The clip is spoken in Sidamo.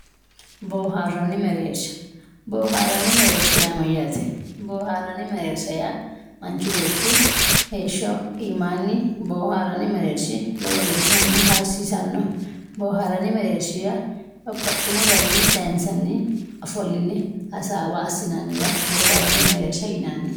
Boharanni merershi boranni mererisha ya mayate boharanni merershi ya manchu beti hesho imani boharanni merershi lowo gesha hasisano boharanni merershi ya babaxino garini sayinsanni ofoline hasawa asinaniwa boharanni merershi yinanni